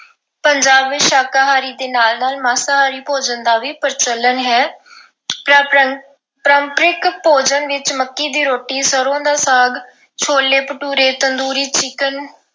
ਪੰਜਾਬ ਵਿੱਚ ਸ਼ਾਕਾਹਾਰੀ ਦੇ ਨਾਲ-ਨਾਲ ਮਾਸਾਹਾਰੀ ਭੋਜਨ ਦਾ ਵੀ ਪ੍ਰਚਲਨ ਹੈ। ਪਰੰਪ ਅਹ ਪਰੰਪਰਿਕ ਭੋਜਨ ਵਿੱਚ ਮੱਕੀ ਦੀ ਰੋਟੀ, ਸਰ੍ਹੋਂ ਦਾ ਸਾਗ, ਛੋਲੇ ਭਟੂਰੇ, ਤੰਦੂਰੀ chicken